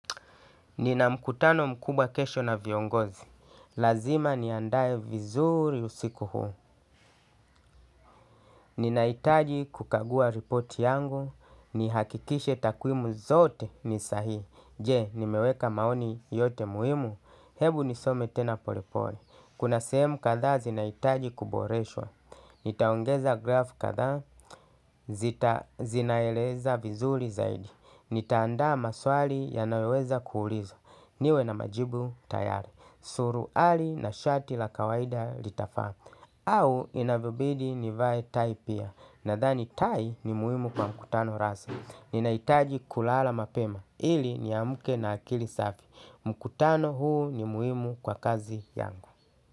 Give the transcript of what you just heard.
Nina mkutano mkubwa kesho na viongozi. Lazima niandae vizuri usiku huu. Ninahitaji kukagua report yangu. Nihakikishe takwimu zote ni sahihi. Je, nimeweka maoni yote muhimu. Hebu nisome tena polepole. Kuna sehemu kadhaa zinahitaji kuboreshwa. Nitaongeza grafu kadhaa zinaeleza vizuri zaidi. Nitaandaa maswali yanayoweza kuulizwa. Niwe na majibu tayari. Suruali na shati la kawaida litafaa. Au inapobidi nivae tai pia. Nadhani tai ni muhimu kwa mkutano rasmi. Ninahitaji kulala mapema. Ili niamke na akili safi. Mkutano huu ni muhimu kwa kazi yangu.